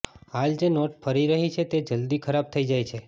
હાલ જે નોટ ફરી રહી છે તે જલ્દી ખરાબ થઈ જાય છે